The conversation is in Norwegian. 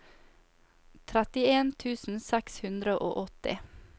trettien tusen seks hundre og åtti